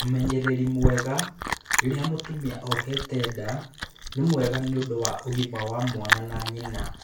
Ũmenyereri mwega rĩrĩa mũtumia ohete nda nĩ mwega nĩũndũ wa ũgima wa mwana na nyina